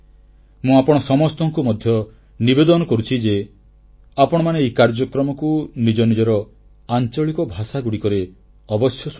ମୁଁ ଆପଣ ସମସ୍ତଙ୍କୁ ମଧ୍ୟ ନିବେଦନ କରୁଛି ଯେ ଆପଣମାନେ ଏ କାର୍ଯ୍ୟକ୍ରମକୁ ନିଜ ନିଜର ଆଂଚଳିକ ଭାଷାଗୁଡ଼ିକରେ ଅବଶ୍ୟ ଶୁଣନ୍ତୁ